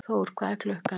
Þór, hvað er klukkan?